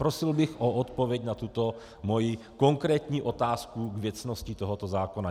Prosil bych o odpověď na tuto moji konkrétní otázku k věcnosti tohoto zákona.